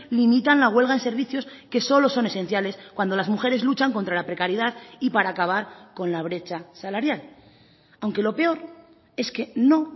limitan la huelga en servicios que solo son esenciales cuando las mujeres luchan contra la precariedad y para acabar con la brecha salarial aunque lo peor es que no